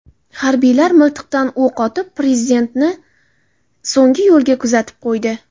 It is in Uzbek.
Harbiylar miltiqdan o‘q otib, prezidentni so‘nggi yo‘lga kuzatib qo‘ydi.